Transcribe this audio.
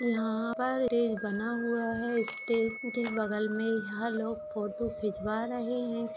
यहां पर स्टेज बना हुआ है स्टेज के बगल में यहां लोग फोटो खिंचवा रहे हैं।